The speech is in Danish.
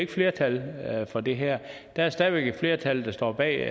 ikke flertal for det her der er stadig væk et flertal der står bag